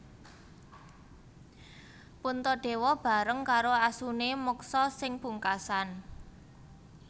Puntadewa bareng karo asune moksa sing pungkasan